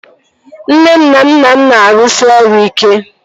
Nne m na nna m na-arụsi ọrụ ike